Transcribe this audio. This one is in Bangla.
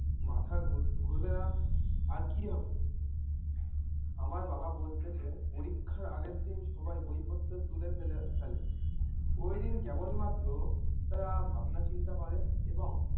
মাথা ঘুরবে না আর কী হবে? আমার বাবা বলতেসে পরীক্ষার আগেরদিন সবাই বই পত্র তুলে ফেলে ফেলো ওইদিন কেবল মাত্র তারা ভাবনা চিন্তা করে এবং